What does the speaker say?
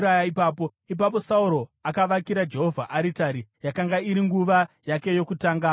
Ipapo Sauro akavakira Jehovha aritari; yakanga iri nguva yake yokutanga kuita izvi.